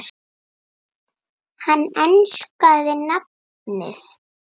Hann enskaði nafnið